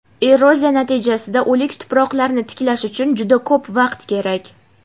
Eroziya natijasida o‘lik tuproqlarni tiklash uchun juda ko‘p vaqt kerak.